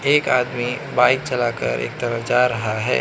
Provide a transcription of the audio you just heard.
एक आदमी बाइक चलाकर एक तरफ जा रहा है।